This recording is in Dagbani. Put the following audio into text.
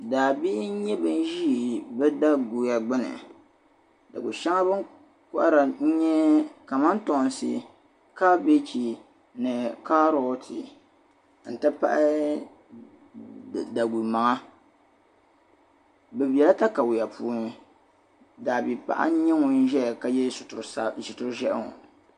Daa bi n-nyɛ ban Ʒi bɛ da'guya gbuni da'gu shɛŋa beni kohiri n-nyɛ kamantoonsi, kabeigi ni karooti n-ti pahi da'gu maŋa be bɛla takawiya puuni daa bi'paɣa n-nyɛ ŋun zaya ka yɛ sitir'Ʒehi ŋɔ